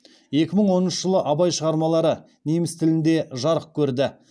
екі мың оныншы жылы абай шығармалары неміс тілінде жарық көрді